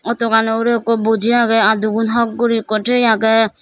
auto gano ugure ekku boji agey adugun hok gori ekku tiye agey.